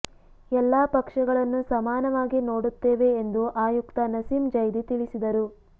ಎಲ್ಲ ಪಕ್ಷಗಳನ್ನು ಸಮಾನವಾಗಿ ನೋಡುತ್ತೇವೆ ಎಂದು ಆಯುಕ್ತ ನಸೀಂ ಜೈದಿ ತಿಳಿಸಿದರು